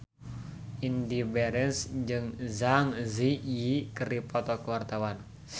Indy Barens jeung Zang Zi Yi keur dipoto ku wartawan